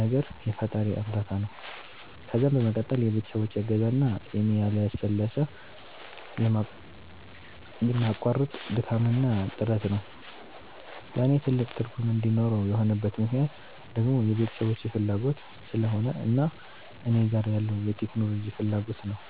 ነገር የፈጣሪየ እርዳታ ነዉ ከዛም በመቀጠል የቤተሰቦቼ እገዛ እና የኔ ያለሰለሰ የማያቋርጥ ድካምና ጥረት ነዉ። ለኔ ትልቅ ትርጉም እንዲኖረው የሆነበት ምክነያት ደግሞ የቤተሰቦቼ ፋላጎት ስለሆነ እና እኔ ጋር ያለዉ የቴክኖሎጂ ፋላጎት ነዉ።